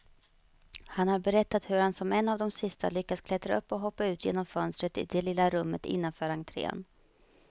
Han har berättat hur han som en av de sista lyckas klättra upp och hoppa ut genom fönstret i det lilla rummet innanför entrén.